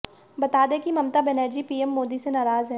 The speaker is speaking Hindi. बता दें कि ममता बनर्जी पीएम मोदी से नाराज हैं